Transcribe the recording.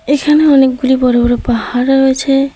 এখানে অনেকগুলি বড় বড় পাহাড় রয়ছে।